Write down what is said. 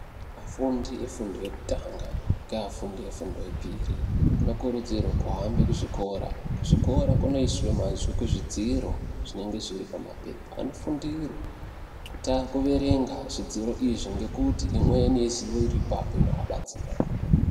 Afundi efundo yekutanga ngeafundi efundo yepiri anokurudzirwe kuhambe kuzvikora, kuzvikora kunosise mazwi kuzvidziro zvinenge zviri pamapepa anofundire kuerenga zvidziro izvo ngekuti dziri imweni irii ipapo inoabatsira.